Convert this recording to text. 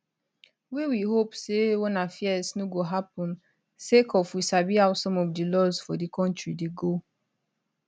wey we hope say wanna fears no go happun sake of we sabi how some of di laws for di kontri dey go